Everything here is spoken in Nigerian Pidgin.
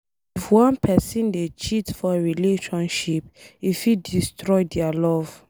If one pesin dey cheat for relationship, e fit destroy dia love